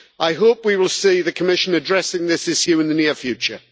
I hope we will see the Commission addressing this issue in the near future.